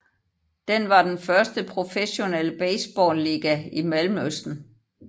Den var den første professionelle baseballiga i Mellemøsten